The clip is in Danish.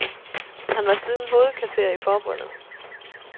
Han var siden hovedkasserer i forbundet.